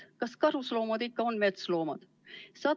Kas karusloomad ikka on metsloomad?